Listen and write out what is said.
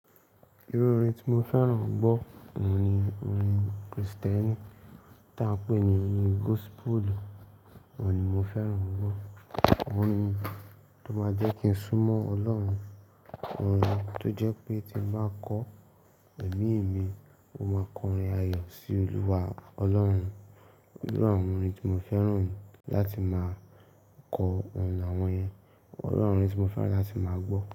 Irú orin tí mo fẹ́ràn gbọ́ òun ni orin Kristẹni tí a ń pè ní orin gospel, òun ni mo fẹ́ràn gbọ́. Òun ni tó máa jẹ́ kí n súmọ́ Ọlọ́run, orin tó jẹ́ pé tí n bá kọ ẹ̀mí mi, ó máa kọrin ayọ̀ sí Olúwa Ọlọ́run. Iwu àwon orin tí mo fẹ́ràn láti máa kọ òun ni àwọn yẹn. Olúwa, orin tí mo fẹ́ràn láti máa gbọ́